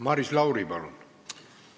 Maris Lauri, palun!